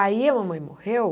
Aí a mamãe morreu.